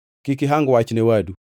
Kik ihang wach ne wadu.